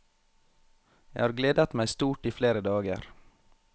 Jeg har gledet meg stort i flere dager.